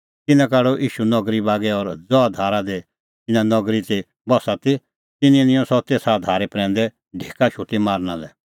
तिन्नैं काढअ ईशू नगरी बागै और ज़हा धारा दी तिन्नें नगरी ती बस्सी दी तिन्नैं निंयं सह तेसा धारे प्रैंदै ढेका शोटी मारना लै